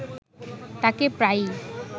তাঁকে প্রায়ই